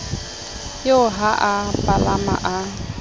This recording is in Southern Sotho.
eo ha a palama a